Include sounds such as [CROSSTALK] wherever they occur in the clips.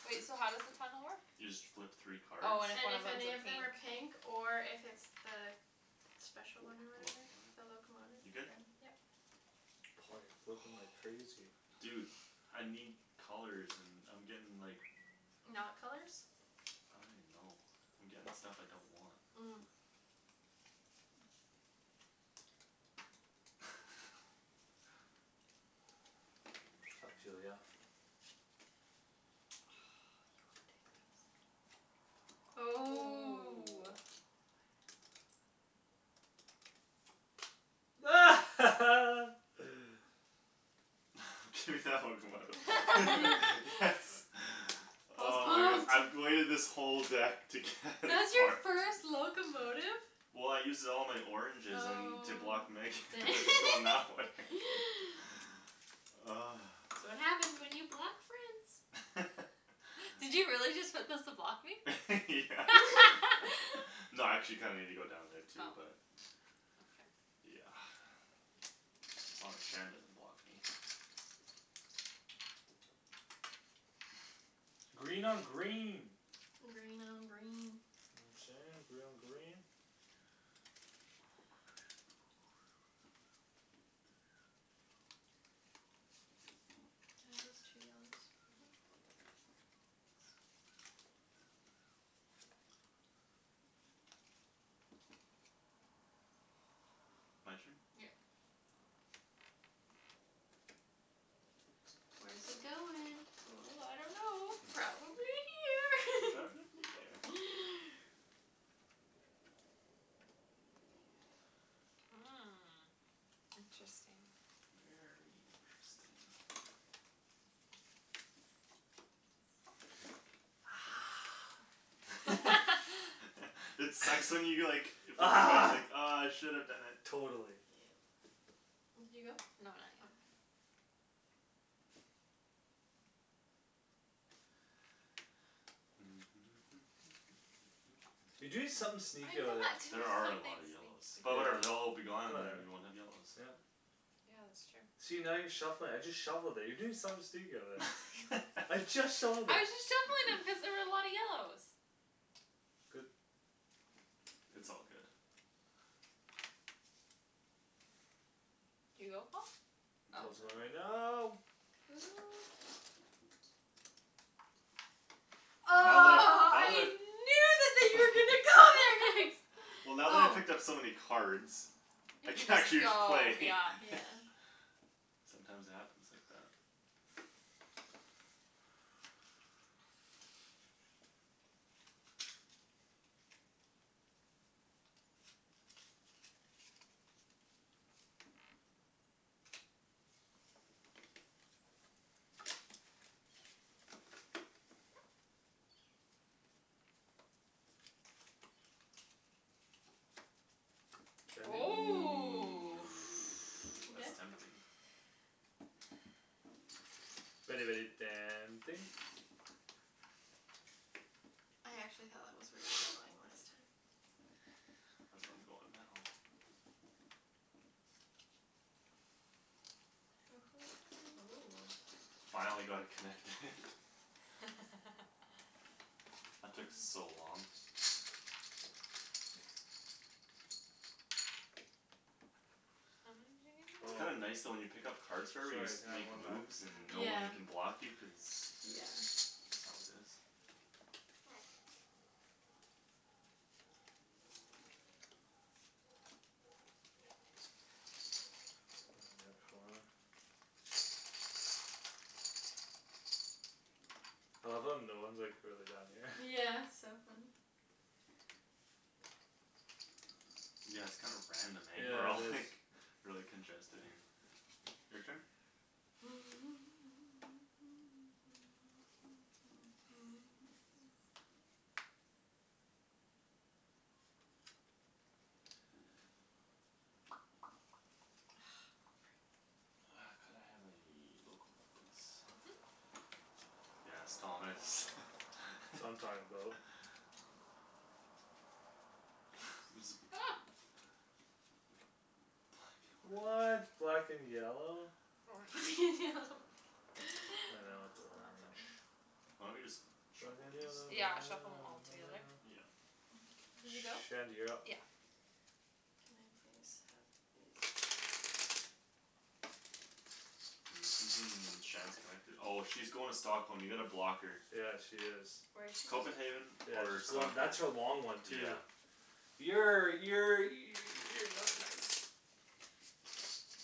[NOISE] Wait, so how does the tunnel work? You just flip three cards. Oh, and if And one of if 'em's a any of them pink are pink or if it's the Special one or The whatever locomotive. The locomotive You're good? then, yep. Paul you're flipping like Oh. crazy. Dude I need colors and I'm getting like Not colors I don't even know. I'm getting stuff I don't want. Mm. [LAUGHS] [INAUDIBLE] Ah, you ridiculous. Ooh. Ooh. [LAUGHS] [LAUGHS] Do that locomotive. [LAUGHS] [NOISE] Yes. [LAUGHS] Paul's Oh my goodness, pumped. I've waited this whole deck to get a That's your card first [LAUGHS] locomotive? Well, I used it all in my oranges and to block Megan. Oh to [LAUGHS] going that way dang [LAUGHS] [LAUGHS] [NOISE] That's what happens when you block friends. [LAUGHS] Did you really just put those to block [LAUGHS] me? Yeah. [LAUGHS] [LAUGHS] No, I actually kinda needed to go down there Oh, too but okay. Yeah. [NOISE] As long as Shan doesn't block me. [NOISE] [LAUGHS] Green on green. Green on green. You know what I'm sayin', green on green. [INAUDIBLE] Mhm. [NOISE] My turn? Yep. Where's he going? Ooh, ooh, I don't know. Probably [LAUGHS] here. Probably there. [LAUGHS] Hmm, Hmm, interesting. interesting. [NOISE] Very interesting. [NOISE] [LAUGHS] [LAUGHS] [LAUGHS] It sucks when you get like Ah. [INAUDIBLE] Ah, I should have done it. Yeah. Totally. Did you go? No, not yet. Okay. [NOISE] You doing something sneaky over I'm not there. doing There are a something lot of yellows. sneaky. But, yeah, But whatever. They'll all be gone, and whatever, then we won't have yellows. yeah. Yeah, that's true. See, now you're shuffling it. I just shuffled it. You're doing something sneaky over there. [LAUGHS] I I'm just just shuffled it. shuffling them cuz there [LAUGHS] was a lot of yellows. Good. It's all good. Did you go Paul? Oh. Good Paul's going right now. now. Ooh. Oh, Now that I've, now that I I've knew that that you were gonna [LAUGHS] go there next. [LAUGHS] Well, now that I Oh. picked up so many cards I You can can just actually go, play yeah Yeah. [LAUGHS] Sometimes it happens like that. Shandy. Ooh, Ooh. Ooh, you good? that's tempting. [NOISE] Very, very tempting. I actually thought that was were you were [NOISE] [NOISE] [NOISE] going last time. That's where I'm going now. Hoo hoo Ooh. hoo Finally got it connected. [LAUGHS] [LAUGHS] [LAUGHS] That took Um. so long. How many did It's you Oh. kinda give me [INAUDIBLE] nice though when you pick up cards forever you just Sorry, can have makes one back? moves and Yeah. Yeah, no yeah. one can block you cuz that's how it is. End at four. I love how no one's like really down here. Yeah, [LAUGHS] it's so funny. Yeah, it's kinda random, eh, we're Yeah, all it is. like Really congested here. Your turn? [NOISE] Ah, freak. [NOISE] Ah, could I have a locomotive please? Mhm. Yes, Thomas [LAUGHS] That's what I'm talkin' about. [NOISE] There's a Oh. What [INAUDIBLE] black and yellow? Orange [LAUGHS] It's I know not it's a orange. funny. Why don't we just Black shuffle and these? yellow Yeah, shuffle 'em all together. [NOISE] Yeah. [NOISE] Did you go? Shandy, you're up. Yeah. Can I please have this? [NOISE] Shand's connected. Oh, she's going to Stockholm. You gotta block her. Yeah, she is. Where's she going? Copenhagen. Yeah, Or she's going. Stockholm, That's her long one too yeah. Yeah, yeah, you you're not nice.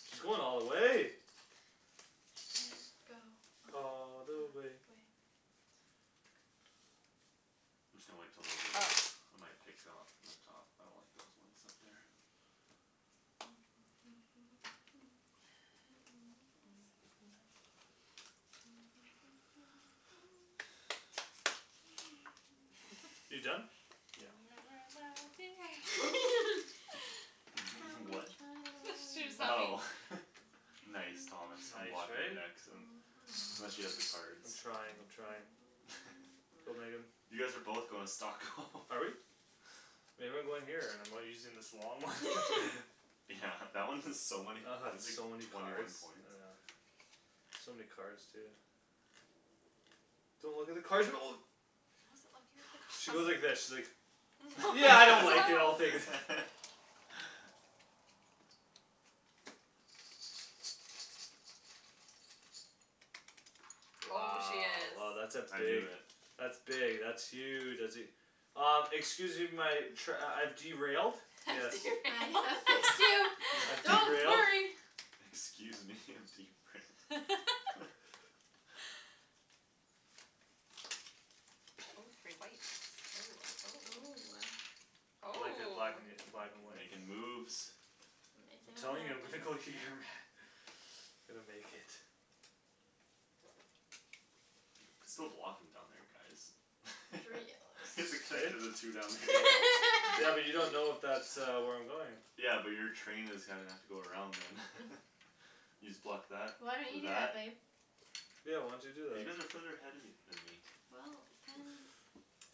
She's going all the way. Can go all All the the way. way I'm just gonna wait till those are done. Oh. I might pick up from the top. I don't like those ones up there. [NOISE] [LAUGHS] You done? You'll Yeah. never know dear [LAUGHS] [LAUGHS] How [LAUGHS] What? much That's what I she was love humming. Oh you. [LAUGHS] Nice. Thomas, I'm Nice, blocking you eh? next. I'm I'm not sure she has the [NOISE] cards. I'm trying, I'm trying. Go, Megan. [LAUGHS] [NOISE] You guys are both going to Stockholm. [LAUGHS] Are we? Maybe I'm going here and I'm using this long one [LAUGHS] [LAUGHS] Yeah [LAUGHS] That one is so many I had points, like, so many twenty one cards, I points. know. So many cards too. Don't look at the cards. [NOISE] I wasn't looking at the cards. She went like this. She's like No. Yeah, I don't [LAUGHS] like it, I'll No. [LAUGHS] take it. [LAUGHS] Oh, she Wow, is oh, that's a I knew big it. That's big, that's huge, that's e- Uh, excuse me my trai- I've derailed. Yes. I'm gonna fix you, I've [LAUGHS] don't derailed. worry. [LAUGHS] Excuse me, I'm derailed. [LAUGHS] [LAUGHS] Oh, three whites, oh, oh, Ooh, oh. ah. I like it black Oh. an- Make black and white but makin' moves I'm telling you I'm gonna go here, man. [INAUDIBLE] [NOISE] I'm gonna make it. You could still block him down there guys. Three [LAUGHS] Is it yellows Eh? connected the two down there? Yeah, but you don't know if that [LAUGHS] uh where I'm going Yeah, but your train is gonna have to go around them. [LAUGHS] You just block that Why don't you with do that. that babe? Yeah why don't you do Cuz you that? guys are further ahead of me than me Well, then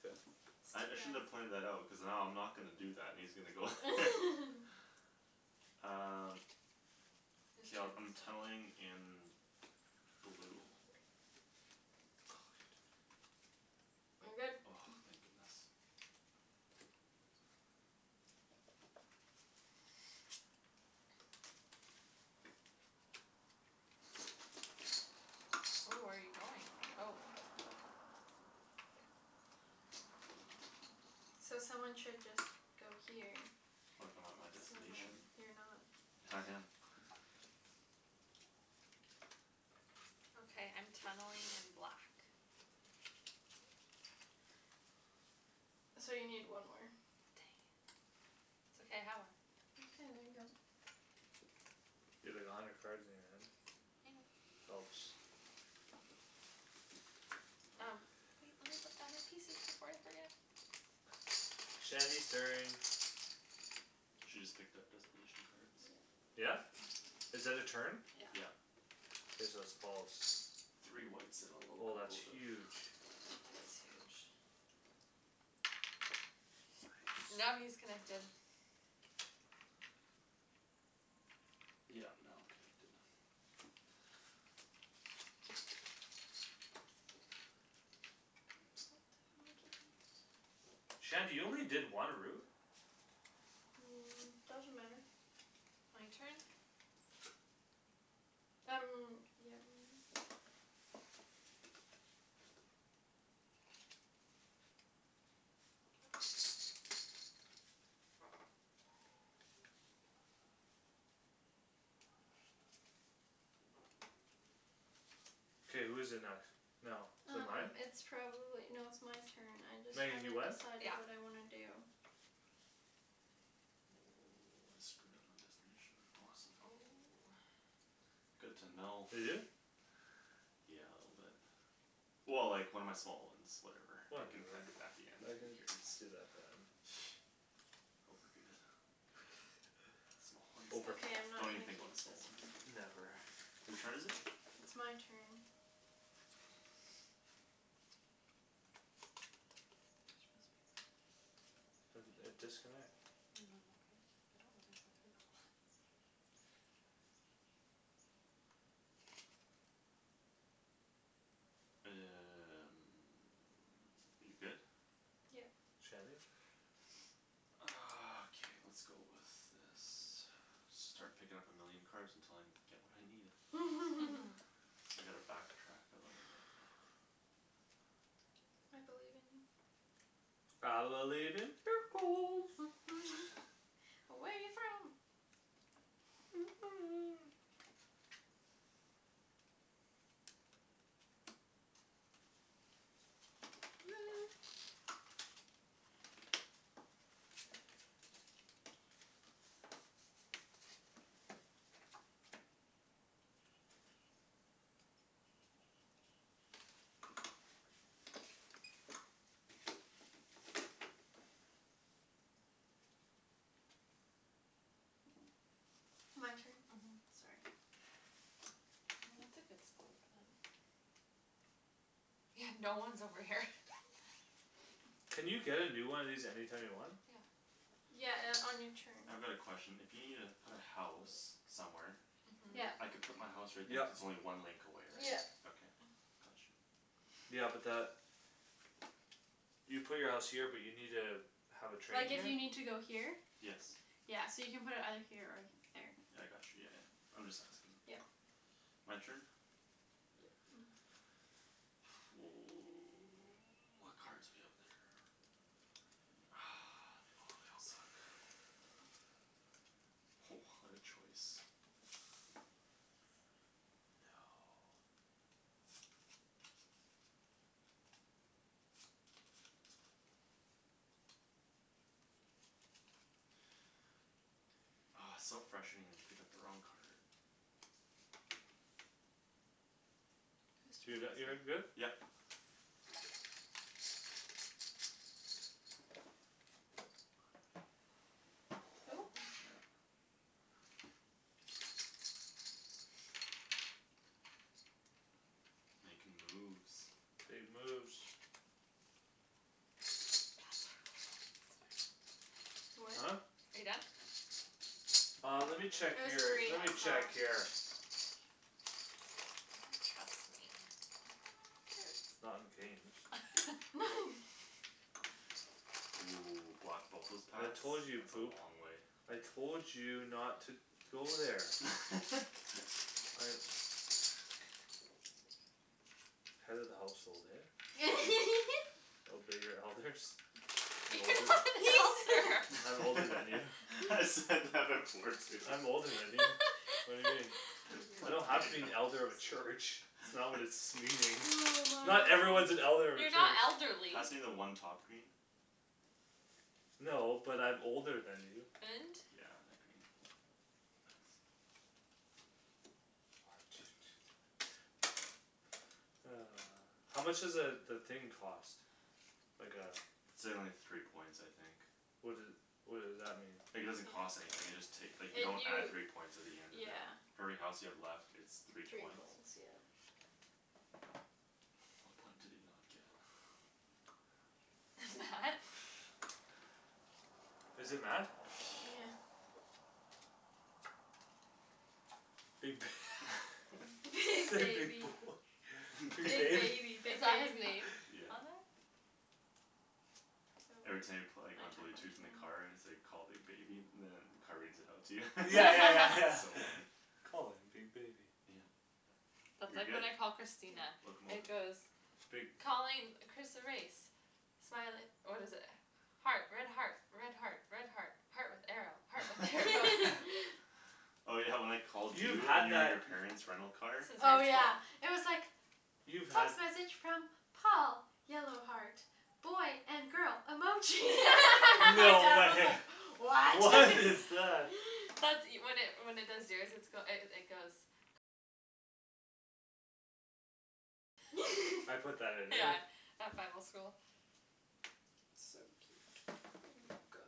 Good. I I shouldn't have It's too long. pointed that out. Cuz now I'm not gonna do that, and he's gonna go [LAUGHS] [LAUGHS] Um. Whose K, I'll turn I'm is it? tunneling in. Blue. [INAUDIBLE] I'm good. Oh, thank goodness. Ooh, where you going? Oh. So someone should just go here. What if I'm at my So then destination? you're not I No, I am am. not. Okay, I'm tunneling [NOISE] in black. [NOISE] So you need one more. [INAUDIBLE] [INAUDIBLE] it's okay. I have one. [INAUDIBLE] You have like a hundred cards in your hand. I know. Helps. Um, wait. [NOISE] Let me put down my pieces before I forget. [NOISE] Shandy's turn. She just picked up destination cards. Yep. Yeah? Is that a turn? Yeah. Yeah. Okay, so it's Paul's. Three whites and a Oh, that's locomotive. huge. That is huge. Nice. Now he is connected. Yeah now I'm connected. [INAUDIBLE] Shandy you only did one route? Um, doesn't matter. My turn? Um, yeah, maybe. K, who's it next now? Is it Um, mine? it's probably, no, it's my turn. I just Megan haven't you went? decided what Yeah. I wanna do. Oh, I screwed up my destination, awesome. Oh. Good to know. You do? [LAUGHS] Yeah, a little bit. Well, like, one of my small ones. Whatever, I can Whatever. connected it back again. I Who can cares? [NOISE] do that at the end. Overrated. Small one. Over. Okay, I'm not Don't even gonna think keep about small this ones. one. Never. Who's turn is it? It's my turn. [INAUDIBLE] And a disconnect. No, I'm okay. I don't wanna go through that one. [NOISE] You good? Yep. Shandy. Ah, okay, lets go with this. Should start picking up a million cards until I'm get what I needed. [LAUGHS] [LAUGHS] I need to back track a little bit. [NOISE] I believe in you. I believe in miracles. [NOISE] [NOISE] Away from [NOISE] [NOISE] [NOISE] My turn. Mhm, sorry. Well, that's a good spot for them. Yeah, no one's over here. [LAUGHS] Can you get a new one of these anytime you want? Yeah. Yeah, uh, on your turn. I've got a question. If you needa put a house somewhere Mhm. Yeah. I can put my house right there Yep. if its only one link away, right? Yeah. Okay, got you. Yeah, but that You put your house here but you need a Have a train Like if here? you need to go here Yes. Yeah, so you can put it either here or here. Yeah I got you, yeah, yeah. I'm just asking. Yep. My turn? Yep. [NOISE] [NOISE] [NOISE] What cards we have there? Ah, they bo- they all suck. Ho, what a choice! No. Oh, it's so frustrating when you pick up the wrong card. Whose Do turn that. You're is good? it? Yep. Who [NOISE] Snap. Makin' moves. Big moves. [INAUDIBLE] Huh? What? Are you done? Uh, let me check It was your, three, let I me check saw. your He You doesn't trust can me. pass to me Not in Hurts. games. [LAUGHS] [LAUGHS] Ooh, block both those I paths. told you you'd That's a poop. long way. I told you not to to go there [LAUGHS] I Head of the household, eh [LAUGHS] Obey your elders. [LAUGHS] I'm You're older. not [LAUGHS] an elder. [LAUGHS] [INAUDIBLE] I'm older than you. I said that before too. I'm older than you. What do you mean? [LAUGHS] I don't have to be an elder of a [INAUDIBLE] [INAUDIBLE] church. It's not what it's [NOISE] meaning. Oh my Not everyone's gosh. an elder of a You're not church. elderly. Pass me the one top green. No, but I'm older than you. And? Yeah, a green. Thanks. One, two, two, seven. [INAUDIBLE] Ah. How much does a the thing cost? Like a It's a only three points I think. What doe- what does that mean? Like it doesn't cost anything, you just take. Like you It don't you add three points at the end of it. yeah For every house you have left it's three Three points. points, yeah. What point did he not get? [NOISE] [INAUDIBLE] [NOISE] Is it met? Yeah. Big [LAUGHS] Big Big big [LAUGHS] baby, boy. [LAUGHS] Big big Big bab- baby, big Is that his baby. name? [NOISE] Yeah. On that? Every time you pla- like on blue tooth in the car, it's like call big baby, and then the car reads it out to you. [LAUGHS] Yeah, yeah, yeah, It's so [LAUGHS] yeah [LAUGHS] funny. Calling big baby Yeah. That's You're like good? when I call Christina, [NOISE] it Locomotive goes Big Calling Chris erase Smile it, what is it? Heart, red heart, red heart, red heart Heart with arrow, heart with arrow [LAUGHS] [LAUGHS] [LAUGHS] [LAUGHS] Oh, yeah, when I called You've you and had you and that your parents rental car Since Oh, high school yeah, it was like You've had Text message from Paul yellow heart boy and girl emoji [LAUGHS] [LAUGHS] my dad No. was like [LAUGHS] [LAUGHS] What? What is [LAUGHS] that? That's e- when it when it does yours it's goe- it goes I put that in there Yeah, at Bible school. So cute, um, guy.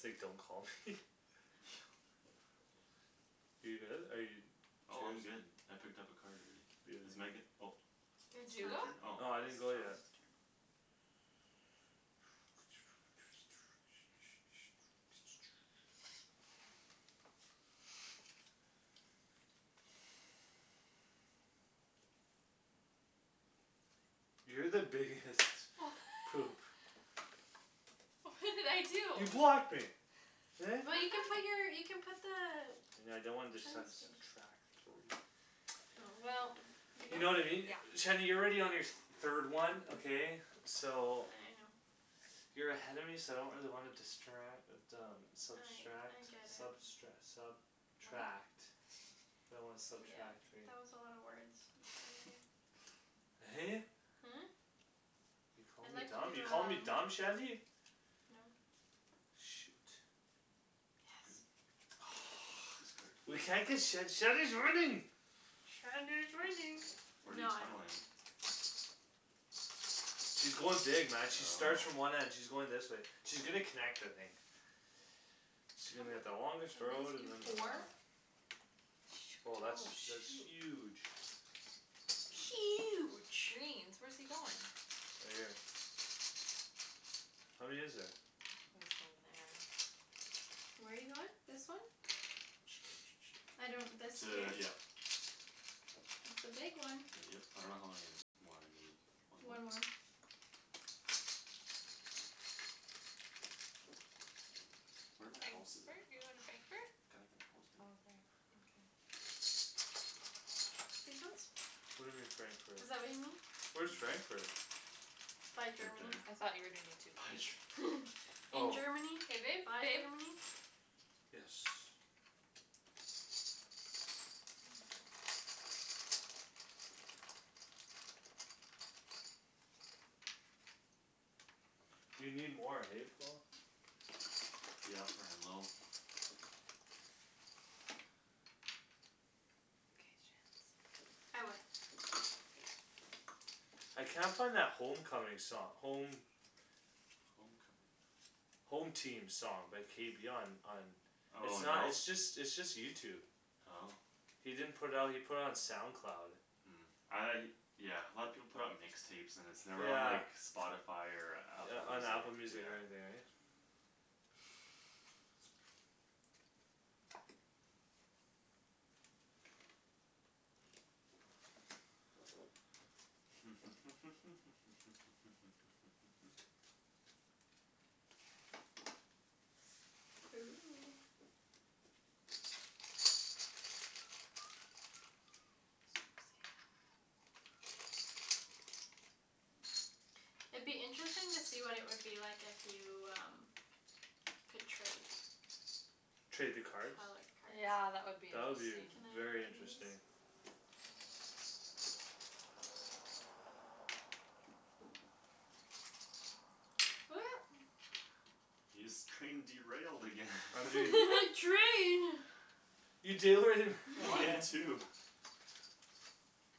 Say don't call me [LAUGHS] [NOISE] You good, are you? It's Oh, yours. I'm good. I picked up a card already. It's Megan. [INAUDIBLE] Oh. Did It's you your go? turn? Oh. No, It's I Thomas' didn't go turn. yet. [NOISE] [NOISE] You're the biggest Wha- [LAUGHS] [LAUGHS] poop. What did I You do? blocked me. Eh? Well, you can put [LAUGHS] your you put the And I don't want Train this sub- station subtract three Oh, well, you You know know what I mean? Yeah. Shady you're already on your th- third one, okay. I know. So You're ahead of me so I don't really wanna distra- uh but um I subtract I get it. substre- sub tract I don't Yeah, wanna that was subtract, right. a lotta words. In front of you [LAUGHS] [LAUGHS] Hey. Hmm? You're calling I'd me like dumb, you're to calling me do, dumb, um Shandy? No. Shoot. Good. Yes. This card. [NOISE] We can't get Shand- Shandy's winning Shandy is winning. Where No, you I don't win. tunneling? She's going dig, man, she starts from Oh. one end, she's going this way. She's gonna connect, I think. She's How gonna get the longest many road [INAUDIBLE] You and have then. ah four? Oh, Shoot, that's that's oh, huge. shoot. Huge. Greens. Where's he goin'? Right here. How many is there? Oh, he's going there. Where you goin'? This one? [NOISE] I don't this here? T- yeah. It's the big one. Yep. I don't know how many more I need. One more? One more. Where my houses Frankfurt? at? You going to Oh, Frankfurt. can I get a house baby? Oh, there. Okay. These ones? What do you mean, Frankfurt? Is that what you mean? Where's [INAUDIBLE] Frankfurt? By Right Germany. there. I thought you were doing the two By pink. Ger- [LAUGHS] In Oh. Germany, K, babe, by babe. Germany. Yes. You need more, hey, Paul. Yeah, running low. K, Shands. I win. I can't find that home coming song, home Home coming. Home team song by K B on on It's Oh, not no? it's just it's just YouTube Oh. He didn't put out he put it on SoundCloud. Mm, I Yeah, a lot of people put it on mix tapes and then it's never on Yeah. like Spotify or Yeah, Apple on Music, Apple yeah. Music or anything, right? [NOISE] [NOISE] Ooh. [NOISE] It'd be interesting to see what it would be like if you, um Could trade Trade the Color cards? Yeah, that cards. would be That would be v- interesting. Can I very give you interesting. these? [NOISE] Your scrain derailed again. [LAUGHS] I'm You doing. had [LAUGHS] train. You derai- [LAUGHS] Mine again. too.